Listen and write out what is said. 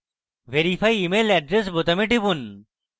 verify email address বোতামে টিপুন